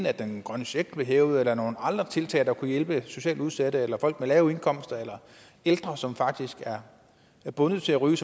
at den grønne check blev hævet eller nogle andre tiltag der kunne hjælpe socialt udsatte folk med lave indkomster eller ældre som faktisk er bundet til at ryge